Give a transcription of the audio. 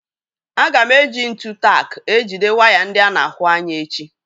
Aga m èji ntụ tak ejide waya ndị ána ahụ ányà echi